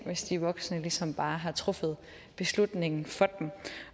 hvis de voksne ligesom bare har truffet beslutningen for dem